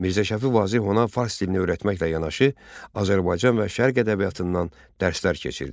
Mirzə Şəfi Vazeh ona fars dilini öyrətməklə yanaşı, Azərbaycan və Şərq ədəbiyyatından dərslər keçirdi.